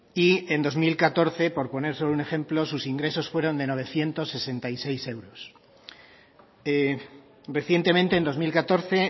y en dos mil catorce por poner solo un ejemplo sus ingresos fueron de novecientos sesenta y seis euros recientemente en dos mil catorce